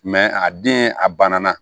a den a banna